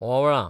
ओंवळां